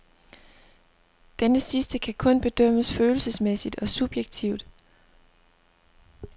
Denne sidste kan kun bedømmes følelsesmæssigt og subjektivt.